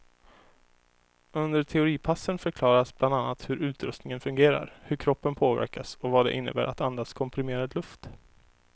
Under teoripassen förklaras bland annat hur utrustningen fungerar, hur kroppen påverkas och vad det innebär att andas komprimerad luft.